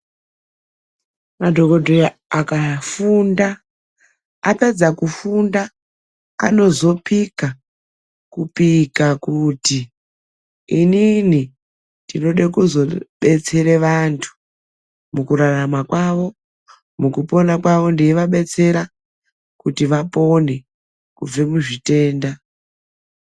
Madokodheya akafunda apedza kufunda anazopika kupika kuti inini ndinoda kuzobetsera vanhtu mukurarama kwavo ,mukupona kwavo ndeivadetsera kuti vapone kubve muzvitenda.